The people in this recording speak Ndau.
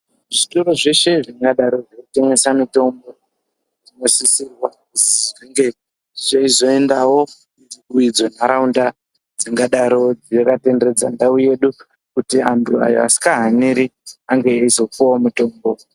Zvitoro zveshe zvingadaro zveyitengesa mutombo zvinosisirwa kuti zvinge zveyizoendawo kudzimwe ndaraunda dzingadaro dzakatenderedza ndawu yesu kuti andu aya asinga haneri ange eyizopuwawo mutombo.